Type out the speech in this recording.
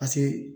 Paseke